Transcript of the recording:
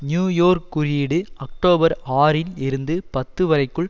new York குறியீடு October ஆறின் இருந்து பத்து வரைக்குள்